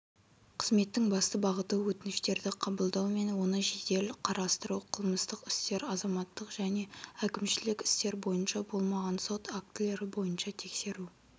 қызметтің басты бағыты өтініштерді қабылдау мен оны жедел қарастыру қылмыстық істер азаматтық және әкімшілік істер бойынша болмаған сот актілері бойынша тексеру